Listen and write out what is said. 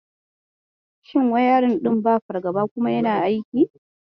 Shin wayarin ɗin ba fargaba kuma yana aiki?